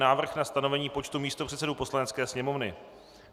Návrh na stanovení počtu místopředsedů Poslanecké sněmovny